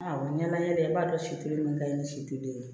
ɲɛma yɛlɛ i b'a dɔn si teliman kaɲi ni situlu ye